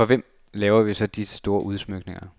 For hvem laver vi så disse store udsmykninger.